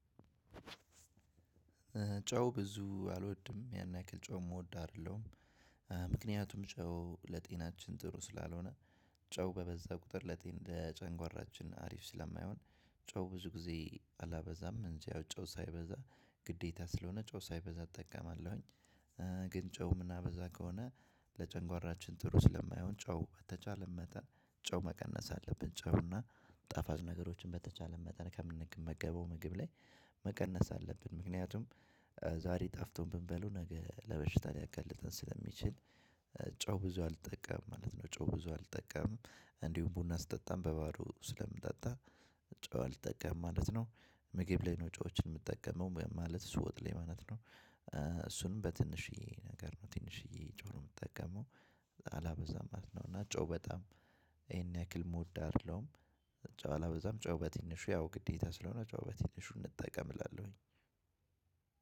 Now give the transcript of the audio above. ጨው ብዙ አልወድም። ያን ያክል ጨው የምወድ አይደለሁም። ምክንያቱም ጨው ለጤናችን ጥሩ ስላልሆነ፤ ጨው በበዛ ቁጥር ለጤና ለጨጓራችን አሪፍ ስለማይሆን ጨው ብዙ ጊዜ አላበዛም እንጂ ያው ጨው ሳይበዛ ግዴታ ስለሆነ ጨው ሳይበዛ እጠቀማለሁኝ። ግን ጨው የምናበዛ ከሆነ ለጨጓራችን ጥሩ ስለማይሆን ጨው በተቻለን መጠን ጨው መቀነስ አለብን። ጨው እና ጣፋጭ ነገሮችን በተቻለን መጠን ከምንመገበው ምግብ ላይ መቀነስ አለብን። ምክንያቱም ዛሬ ጣፍጦን ብንበላው ነገ ለበሽታ ሊያጋልጠን ስለሚችል ጨው ብዙ አልጠቀምም ማለት ነው። ጨው ብዙ አልጠቀምም። እንዲሁም ቡና ስጠጣም በባዶ ስለምጠጣ ጨው አልጠቀምም ማለት ነው። ምግብ ላይ ነው ጨዎችን የምጠቀመው። ማለት እሱ ወጥ ላይ ማለት ነው። እሱንም በትንሽዬ ነገር ነው። ትንሽዬ ጨው ነው የምጠቀመው። አላበዛም ማለት ነው። እና ጨው በጣም ይሄን ያክል የምወድ አይደለሁም። ጨው አላበዛም። ጨው በትንሹ ያው ግዴታ ስለሆነ ጨው በትንሹ እንጠቀም እላለሁኝ።